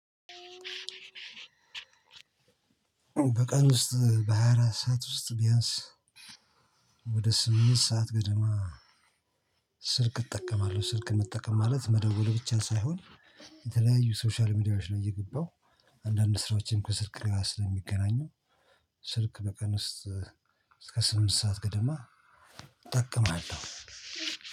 በቀን ውስጥ በሃያ አራት ሰዓት ውስጥ ቢያንስ ወደ ስምንት ሰዓት ገደማ ስልክ እጠቀማለሁ። ስልክ መጠቀም ማለት መደወል ብቻ ሳይሆን። የተለያዩ ሶሻል ሚዲያዎች ላይ እየገባሁ አንዳንድ ስራዎችን ከስልክ ጋ ስለሚገናኙ። ስልክ በቀን ውስጥ እስከ ስምንት ሰዓት ገደማ እጠቅማለሁ።